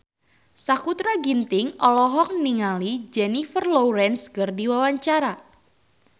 Sakutra Ginting olohok ningali Jennifer Lawrence keur diwawancara